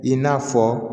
I n'a fɔ